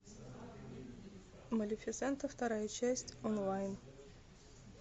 малефисента вторая часть онлайн